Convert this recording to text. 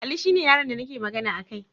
Ali shine yaron da nake magana akai